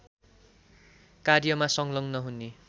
कार्यमा संलग्न हुने